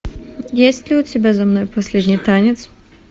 есть ли у тебя за мной последний танец